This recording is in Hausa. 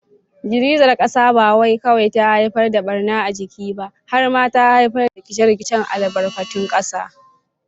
Girgizar kasar ba kawai ta haifar da barna a jiki ba, har ma ta haifar da rikice-rikicen albarkatun kasa.